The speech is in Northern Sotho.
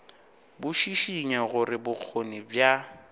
bo šišinya gore bokgoni bja